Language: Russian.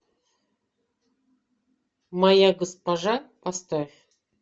моя госпожа поставь